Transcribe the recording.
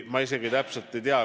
Ma isegi täpselt ei tea.